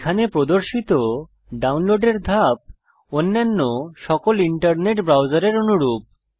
এখানে প্রদর্শিত ডাউনলোডের ধাপ অন্যান্য সকল ইন্টারনেট ব্রাউজারের অনুরূপ